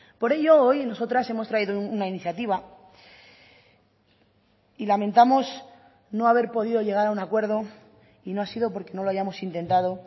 por ello hoy nosotras hemos traído una iniciativa y lamentamos no haber podido llegar a un acuerdo y no ha sido porque no lo hayamos intentado